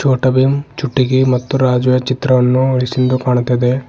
ಛೋಟಾ ಭೀಮ್ ಚುಟುಕಿ ಮತ್ತು ರಾಜುವ ಚಿತ್ರವನ್ನು ಅಳಿಸಿಂದು ಕಾಣುತ್ತಿದೆ.